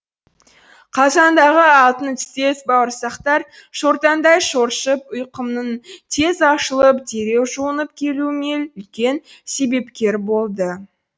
қазандағы алтын түстес бауырсақтар шортандай шоршып ұйқымның тез ашылып дереу жуынып келуіме үлкен себепкер болды